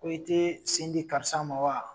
Ko e tɛ sen di karisa ma wa?